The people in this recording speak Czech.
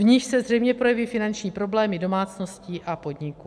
V nich se zřejmě projeví finanční problémy domácností a podniků.